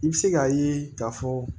I bɛ se k'a ye k'a fɔ